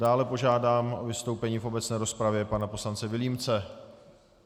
Dále požádám o vystoupení v obecné rozpravě pana poslance Vilímce.